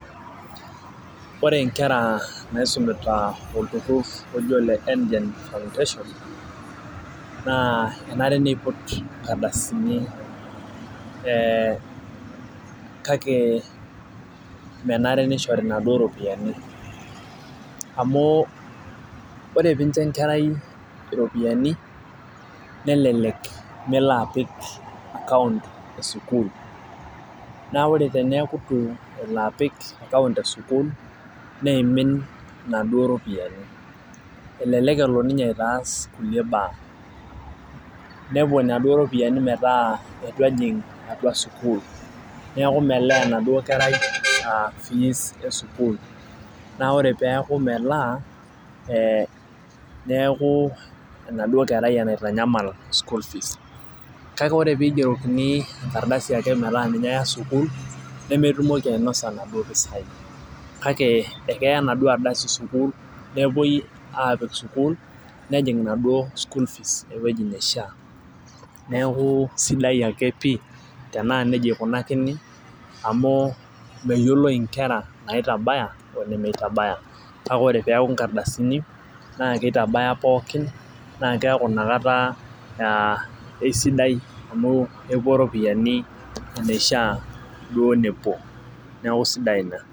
Ore nkera naisumita olturur loji oleKengen naa enare niput nkardasini ee kake menare nishori naduo ropiyiani amu ore pincho enkerai iropiyiani , nelelek melo apik account esukuul , naa ore peeku itu epik account esukuul neimin inaduo ropiyiani , elelek elo ninye aitaas inaduo ropiyiani kulie baa , nepuo inaduo ropiyiani metaa itu ejing enaduo sukuul neeku melaa enaduo kerai aa fees esukuul , naa ore peeku melaa ee neeku enauo kerai enaitanyamal school fees. Kake ore pigerokini enkardasi ake metaa ninye eya sukuul nemetumoki ainosa inaduo pisai kake ekeya enaduo ardasi sukuul nepuoi apik sukuul , nejing enaduo school fees ewueji naishiaa, neeku sidai ake pi tenaa nejia ikunakini amu meyioloi inkera naitabaya onemeitabaya, kake ore peaku inkardasini naa kitabaya pookin naa keeaku inakata aa aisidai amu epuo ropiyiani eneishiaa duo nepuo neeku sidai ina.